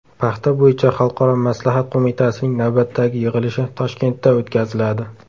Paxta bo‘yicha xalqaro maslahat qo‘mitasining navbatdagi yig‘ilishi Toshkentda o‘tkaziladi.